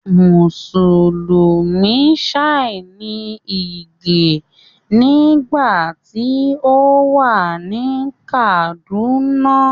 Mùsùlùmí Shia ní Ìgè nígbà tí ó wà ní Kàdúnà